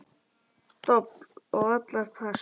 Dobl og allir pass.